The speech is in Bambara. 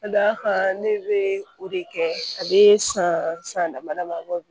Ka d'a kan ne bɛ o de kɛ a bɛ san san dama dama bɔ